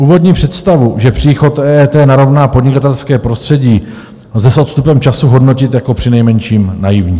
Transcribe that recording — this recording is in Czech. Úvodní představu, že příchod EET narovná podnikatelské prostředí, lze s odstupem času hodnotit jako přinejmenším naivní.